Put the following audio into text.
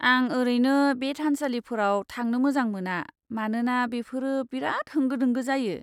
आं ओरैनो बे थानसालिफोराव थांनो मोजां मोना मानोना बेफोरो बेराद होंगो दोंगो जायो।